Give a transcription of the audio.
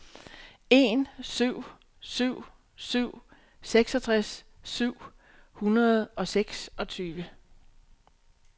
en syv syv syv seksogtres syv hundrede og seksogtyve